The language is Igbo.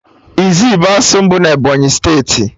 Izzi bụ otu asụsụ na Ebonyi steeti